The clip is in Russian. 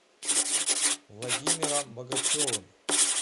владимиром богачевым